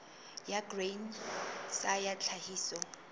ya grain sa ya tlhahiso